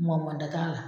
Mɔ da t'a la